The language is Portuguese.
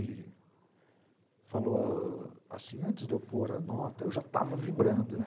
E falou assim, antes de eu pôr a nota, eu já estava vibrando, né?